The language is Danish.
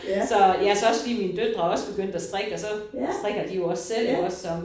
Så ja så også fordi mine døtre også begyndt at strikke så strikker de jo også selv iggås så